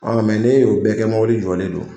mɛ n'e y'o bɛɛ kɛ mobili jɔlen don,